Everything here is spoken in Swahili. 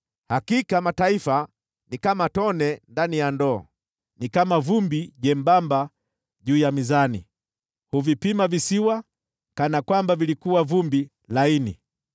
Hakika mataifa ni kama tone ndani ya ndoo, ni kama vumbi jembamba juu ya mizani, huvipima visiwa kana kwamba vilikuwa vumbi laini.